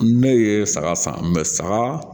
Ne ye saga san saga